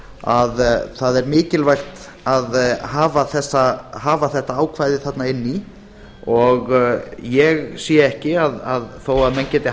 að það er mikilvægt að hafa þetta ákvæði þarna inni í og ég sé ekki þó menn geti